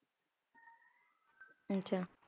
ਅੱਛਾ